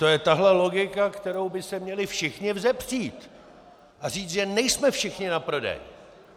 To je tahle logika, kterou by se měli všichni vzepřít a říct, že nejsme všichni na prodej!